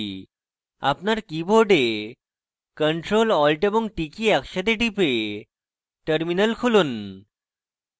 আপনার keyboard ctrl + alt এবং t key একসাথে টিপে terminal খুলুন